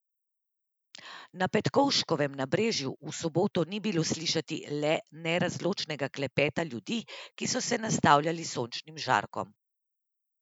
Na Petkovškovem nabrežju v soboto ni bilo slišati le nerazločnega klepeta ljudi, ki so se nastavljali sončnim žarkom.